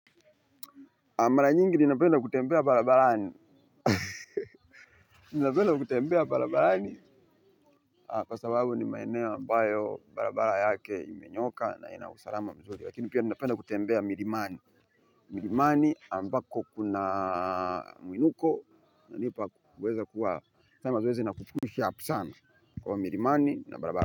Mara nyingi ninapenda kutembea barabarani. Ninapenda kutembea barabarani. Kwa sababu ni maeneo ambayo barabara yake imenyooka na ina usalama mzuri lakini pia ninapenda kutembea milimani. Milimani ambako kuna mwinuko kunanipa kuweza kuwa kwa hiyo milimani na barabarani.